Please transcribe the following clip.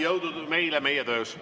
Jõudu meile meie töös!